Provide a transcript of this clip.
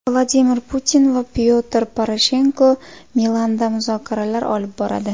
Vladimir Putin va Pyotr Poroshenko Milanda muzokaralar olib boradi.